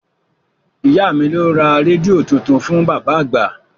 Ìyá mi ló ra rédíò tuntun fún bàbá àgbà